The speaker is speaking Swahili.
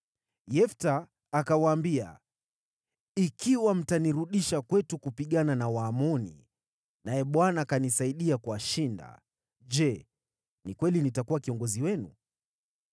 Yefta akawaambia, “Ikiwa mtanirudisha kwetu kupigana na Waamoni, naye Bwana akanisaidia kuwashinda, Je, ni kweli nitakuwa kiongozi wenu?”